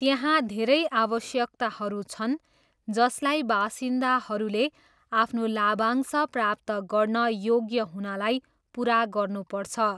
त्यहाँ धेरै आवश्यकताहरू छन् जसलाई बासिन्दाहरूले आफ्नो लाभांश प्राप्त गर्न योग्य हुनलाई पुरा गर्नुपर्छ।